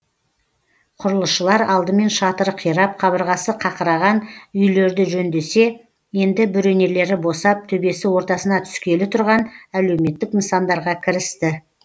құрылысшылар алдымен шатыры қирап қабырғасы қақыраған үйлерді жөндесе енді бөренелері босап төбесі ортасына түскелі тұрған әлеуметтік нысандарға кірісті